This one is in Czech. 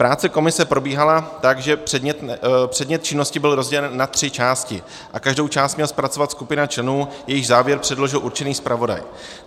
Práce komise probíhala tak, že předmět činnosti byl rozdělen na tři části a každou část měla zpracovat skupina členů, jejichž závěr předložil určený zpravodaj.